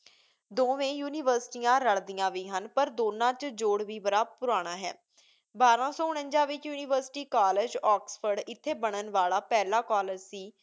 ਦੋਂਵੇਂ ਯੂਨੀਵਰਸਿਟੀਆਂ ਰਲਦੀਆਂ ਵੀ ਹਨ ਪਰ ਦੋਨਾਂ 'ਚ ਜੋੜ ਵੀ ਬੜਾ ਪੁਰਾਣਾ ਹੈ। ਬਾਰਾਂ ਸੌਂ ਉਨੰਜ਼ਾ ਵਿੱਚ ਯੂਨੀਵਰਸਿਟੀ ਕਾਲਜ, ਆਕਸਫ਼ੋਰਡ ਇੱਥੇ ਬਣਨ ਵਾਲਾ ਪਹਿਲਾ ਕਾਲਜ ਸੀ,